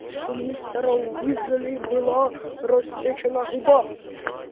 у мистера уизли была рассечена губа